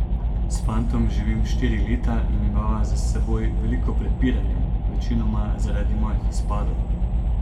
S fantom živim štiri leta in imava za seboj veliko prepiranja, večinoma zaradi mojih izpadov.